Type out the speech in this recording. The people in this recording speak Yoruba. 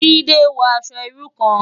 Jide n wò aṣò irú kán